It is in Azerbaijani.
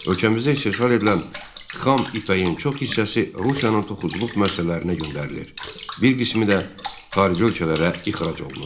Ölkəmizdə istehsal edilən xam ipəyin çox hissəsi Rusiyanın toxuculuq müəssisələrinə göndərilir, bir qismi də xarici ölkələrə ixrac olunurdu.